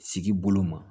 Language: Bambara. Sigi bolo ma